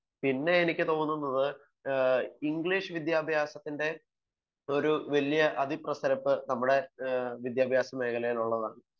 തോന്നുന്നത് ഇംഗ്ലീഷ് വിദ്യാഭ്യാസത്തിന്റെ ഒരു അതിപ്രസരം നമ്മുടെ വിദ്യാഭ്യാസ മേഖലയിൽ ഉള്ളതാണ്